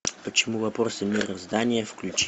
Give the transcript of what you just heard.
почему вопросы мироздания включи